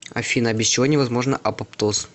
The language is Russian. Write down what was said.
афина без чего не возможно апоптоз